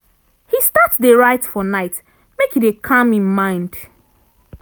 he start dey write for night make e dey calm him mind.